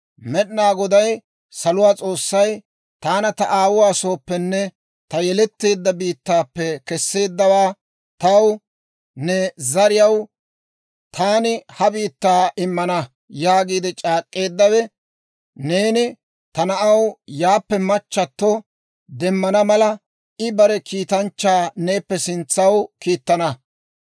Med'ina Goday, saluwaa S'oossay, taana ta aawuwaa sooppenne ta yeletteedda biittaappe keseeddawe taw, ‹Ne zariyaw taani ha biittaa immana› yaagiide c'aak'k'eeddawe, neeni ta na'aw yaappe machchatto demmana mala, I bare kiitanchchaa neeppe sintsaw kiittana.